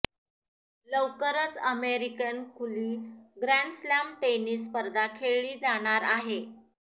लवकरच अमेरिकन खुली grand slam tennis स्पर्धा खेळली जाणार आहे